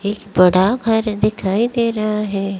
एक बड़ा घर दिखाई दे रहा है।